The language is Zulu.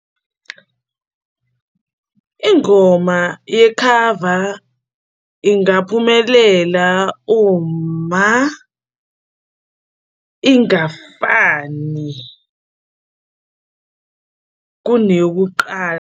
Ingoma yekhava ingaphumelela uma ingafani kuneyokuqala.